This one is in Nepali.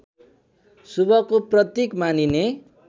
शुभको प्रतीक मानिने